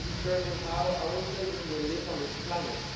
They will determine how our children will live on this planet.